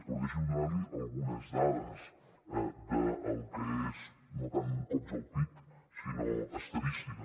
però deixi’m donar li algunes dades del que és no tant cops al pit sinó estadística